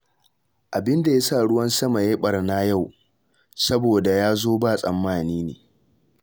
Abin da ya sa ruwan sama ya yi ɓarna yau, saboda ya zo ba tsammani ne